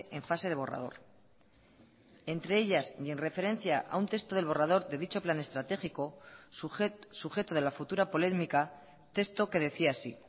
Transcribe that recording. en fase de borrador entre ellas y en referencia a un texto del borrador de dicho plan estratégico sujeto de la futura polémica texto que decía así